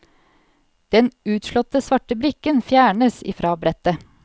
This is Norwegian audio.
Den utslåtte svarte brikken fjernes i fra brettet.